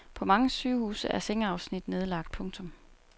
På mange sygehuse er sengeafsnit nedlagt. punktum